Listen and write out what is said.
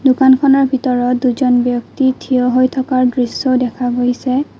দোকানখনৰ ভিতৰত দুজন ব্যক্তি থিয় হৈ থকাৰ দৃশ্যও দেখা গৈছে।